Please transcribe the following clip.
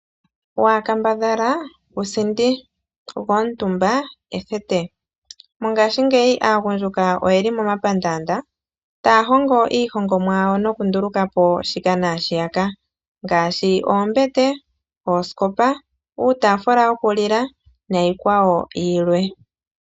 Waakambadhala ku sindi go omutumba ethete. Mongashingeyi aagundjuka oyeli momapandaanda taya hongo iihongomwa yawo nokunduluka po shika naashiyaka ngaashi oombete, oosikopa uutaafula wo ku lila niikwawo yilwe.